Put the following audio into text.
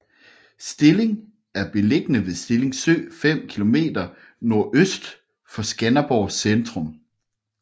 Stilling er beliggende ved Stilling Sø 5 kilometer NØ for Skanderborg centrum